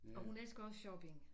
Og hun elsker også shopping